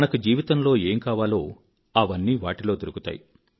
మనకు జీవితంలో ఏం కావాలో అవన్నీ వాటిలో దొరుకుతాయి